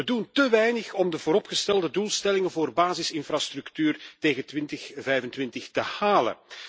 We doen te weinig om de vooropgestelde doelstellingen voor basisinfrastructuur tegen 2025 te halen.